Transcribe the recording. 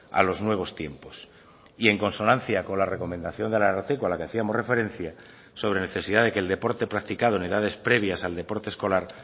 a los nuevos tiempos y en consonancia con la recomendación del ararteko a la que hacíamos referencia sobre necesidad de que el deporte practicado en edades previas al deporte escolar